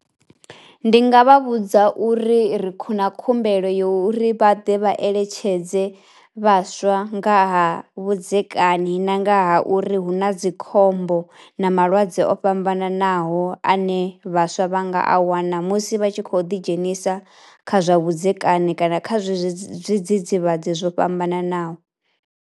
Ndi nga vha vhudza uri ri khou na khumbelo yo uri vha ḓe vha eletshedze vhaswa nga ha vhudzekani na nga ha uri hu na dzikhombo na malwadze o fhambananaho ane vhaswa vha nga a wana musi vha tshi khou ḓi dzhenisa kha zwa vhudzekane kana kha zwezwi zwi zwidzidzivhadzi zwo fhambananaho.